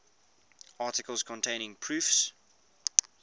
articles containing proofs